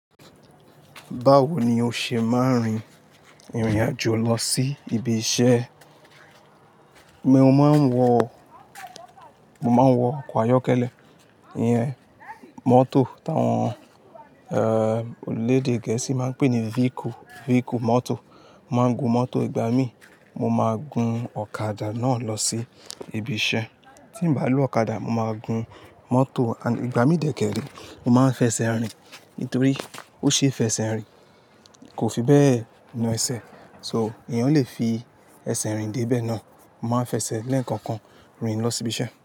Báwo ni o ṣe máa ń rin ìrìn àjò lọ sí ibi iṣẹ́? Mo máa ń wọ, mo máa ń wọ ọkọ̀ ayọ́kẹ́lẹ́, ìyẹn mọ́tò táwọn, er, elèdè Gẹ̀ẹ́sì máa ń pè ní vehicle, vehicle, mọ́tò. Mo máa ń gun mọ́tò ìgbà mí, mo máa gun ọ̀kadà náà lọ sí ibi iṣẹ́. Tí nbà lo ọ̀kadà, mo máa gun mọ́tò ìgbà mí dẹ́kẹ́rẹ́. Mo máa ń fẹsẹ̀ rìn nítorí ó ṣe é fẹsẹ̀ rìn, kò fi bẹ́ẹ̀ na ẹsẹ̀. So èèyàn lè fi ẹsẹ̀ rìn dé ibẹ̀ náà, mo máa ń fẹsẹ̀ lẹ́ẹ̀kọ̀kan rìn lọ sí ibi iṣẹ́